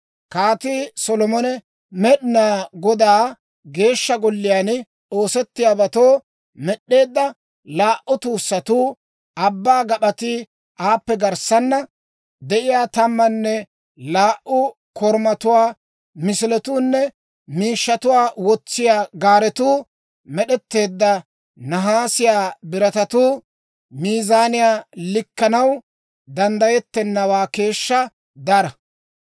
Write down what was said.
Kaatii Solomon Med'inaa Godaa Geeshsha Golliyaan oosettiyaabatoo med'd'eedda laa"u tuussatuu, Abbaa Gap'atii, aappe garssaana de'iyaa tammanne laa"u korumatuwaa misiletuunne miishshatuwaa wotsiyaa gaaretuu med'etteedda nahaasiyaa biratatuu miizaanan likkanaw danddayettennawaa keeshshaa dara.